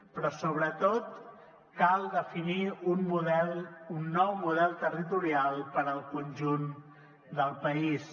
però sobretot cal definir un nou model territorial per al conjunt del país